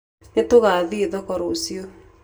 Nĩtũgathiĩ thoko rũciũ.